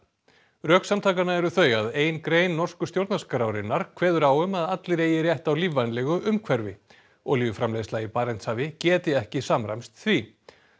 rök samtakanna eru þau að ein grein norsku stjórnarskrárinnar kveður á um að allir eigi rétt á lífvænlegu umhverfi olíuframleiðsla í Barentshafi geti ekki samræmst því